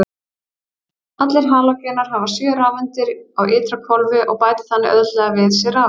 Allir halógenar hafa sjö rafeindir á ytra hvolfi og bæta þannig auðveldlega við sig rafeind.